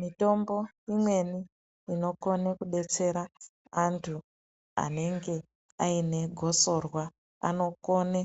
Mitombo imweni inokone kubetsera antu aine gosorwa anokone